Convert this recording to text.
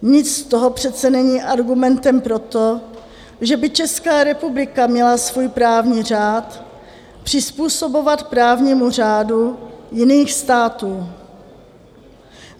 Nic z toho přece není argumentem pro to, že by Česká republika měla svůj právní řád přizpůsobovat právnímu řádu jiných států.